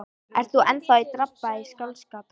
Ert þú enn að drabba í skáldskap?